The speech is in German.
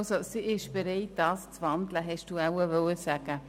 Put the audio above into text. Sie ist bereit, zu wandeln, wollten Sie, Frau Präsidentin, wohl sagen.